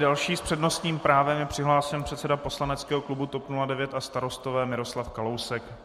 Další s přednostním právem je přihlášen předseda Poslaneckého klubu TOP 09 a Starostové Miroslav Kalousek.